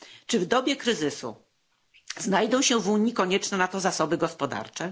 Czy w dobie kryzysu znajdą się w Unii konieczne na to zasoby gospodarcze?